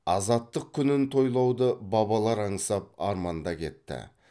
азаттық күнін тойлауды бабалар аңсап арманда кетті